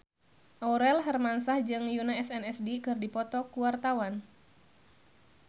Aurel Hermansyah jeung Yoona SNSD keur dipoto ku wartawan